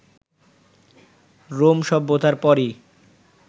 Rome সভ্যতার পরই